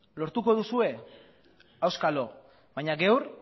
lortuko duzue auskalo baino gaur